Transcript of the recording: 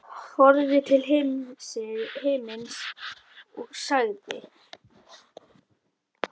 Horfði til himins og sagði